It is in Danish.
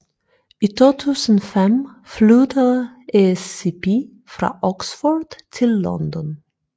I 2005 flyttede ESCP fra Oxford til London